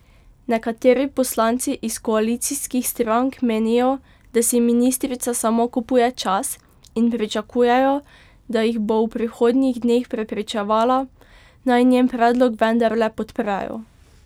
Nekateri poslanci iz koalicijskih strank menijo, da si ministrica samo kupuje čas, in pričakujejo, da jih bo v prihodnjih dneh prepričevala, naj njen predlog vendarle podprejo.